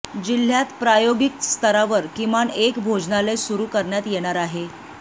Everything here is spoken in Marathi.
जिल्ह्यात प्रायोगिक स्तरावर किमान एक भोजनालय सुरू करण्यात येणार आहे